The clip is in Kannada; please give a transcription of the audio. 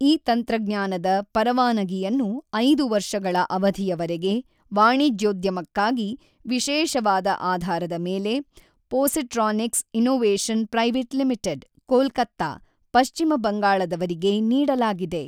ಈ ತಂತ್ರಜ್ಞಾನದ ಪರವಾನಗಿಯನ್ನು 5 ವರ್ಷಗಳ ಅವಧಿಯವರೆಗೆ ವಾಣಿಜ್ಯೋದ್ಯಮಕ್ಕಾಗಿ ವಿಶೇಷವಾದ ಆಧಾರದ ಮೇಲೆ Positronics innovation private limited, Kolkata, ಪಶ್ಚಿಮ ಬಂಗಾಳದವರಿಗೆ ನೀಡಲಾಗಿದೆ.